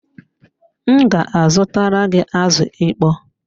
M ga azutara gị azụ ịkpọ